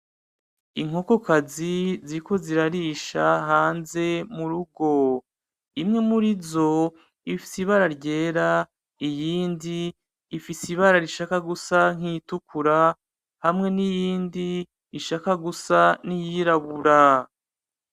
Inkokokazi ziriko zirarisha hanze murugo imwe murizo ifise ibara ryera iyindi ifise ibara rigomba gusa nk'iritukura hamwe niyindi ishaka gusa nk'iyirabura.